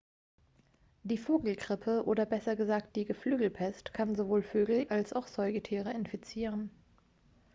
die vogelgrippe oder besser gesagt die geflügelpest kann sowohl vögel als auch säugetiere infizieren